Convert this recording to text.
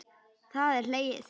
Það er hlegið.